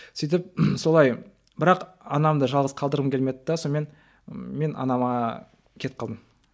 сөйтіп солай бірақ анамды жалғыз қалдырғым келмеді де сонымен мен анама кетіп қалдым